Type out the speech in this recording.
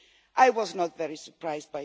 I was not very surprised.